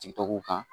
Sigitaw kan